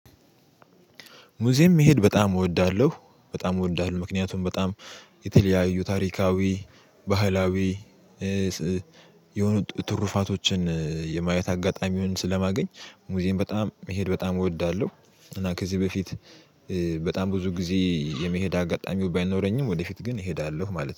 ሙዚየም መሄድ በጣም እወዳለሁ በጣም እወዳለሁ ምክንያቱም በጣም የተለያዩ ታሪካዊ ባህላዊ የሆኑ ትሩፋቶችን የማየት አጋጣሚውን ስለማገኝ ሙዚየም በጣም መሄድ በጣም እወዳለሁ። እና ከዚህ በፊት በጣም ብዙ ጊዜ የመሄድ አጋጣሚው ባይኖረኝም ወደፊት ግን እሄዳለሁ ማለት ነው